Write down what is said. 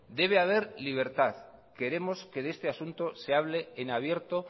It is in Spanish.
debe haber libertad queremos que de este asunto se hable en abierto